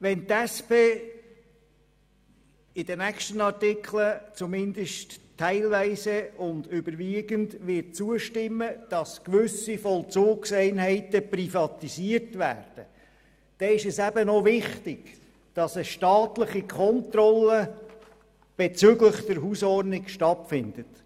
Wenn die SP in den nächsten Artikeln, zumindest teilweise und überwiegend, zustimmen wird, dass gewisse Vollzugseinheiten privatisiert werden, dann ist es auch wichtig, dass eine staatliche Kontrolle bezüglich der Hausordnung stattfindet.